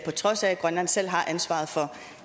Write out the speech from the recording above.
på trods af at grønland selv har ansvaret for